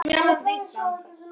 Rit um jarðelda á Íslandi.